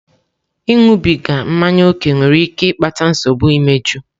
Ịṅụbiga mmanya ókè nwere ike ịkpata nsogbu imeju.